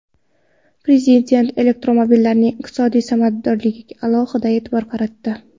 Prezident elektromobillarning iqtisodiy samaradorligiga alohida e’tibor qaratdi.